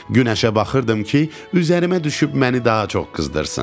Günəşə baxırdım ki, üzərimə düşüb məni daha çox qızdırsın.